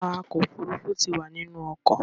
Awakọ̀-òfurufú ti wà nínú ọkọ̀.